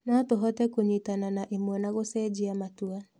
No tũhote kũnyitana na ĩmwe na gũcenjia matua.